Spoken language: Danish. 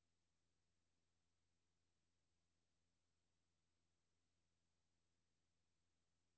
M O B I L I S E R E S